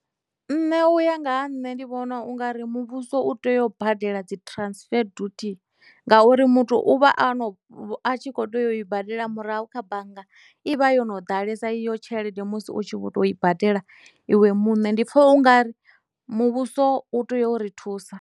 Nṋe uya nga ha nṋe ndi vhona u nga ri muvhuso u tea u badela dzi transfer dutie ngauri muthu u vha a no a tshi kho teya u i badela murahu kha bannga i vha yo no ḓalesa iyo tshelede musi u tshi vho to i badela iwe muṋe ndi pfha u nga ri muvhuso u tea u ri thusa.